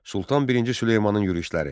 Sultan birinci Süleymanın yürüşləri.